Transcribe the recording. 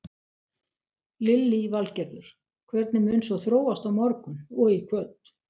Lillý Valgerður: Hvernig mun svo þróast á morgun og í kvöld?